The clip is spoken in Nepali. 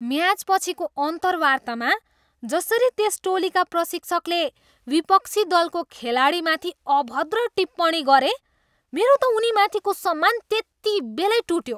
म्याचपछिको अन्तर्वार्तामा जसरी त्यस टोलीका प्रशिक्षकले विपक्षी दलको खेलाडीमाथि अभद्र टिप्पणी गरे, मेरो त उनीमाथिको सम्मान त्यतिबेलै टुट्यो।